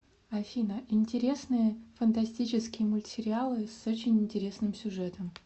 афина интересные фантастический мультсериалы с очень интересным сюжетом